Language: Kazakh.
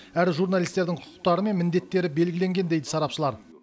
әрі журналистердің құқықтары мен міндеттері белгіленген дейді сарапшылар